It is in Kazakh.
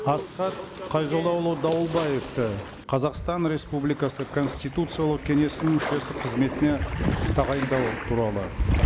асхат қайзоллаұлы дауылбаевты қазақстан республикасы конституциялық кеңесінің мүшесі қызметіне тағайындау туралы